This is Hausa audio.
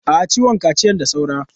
A'a, ciwon kaciyan da saura.